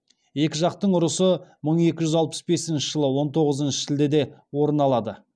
екі жақтың ұрысы мың екі жүз алпыс бесінші жылы он тоғызыншы шілдеде орын алады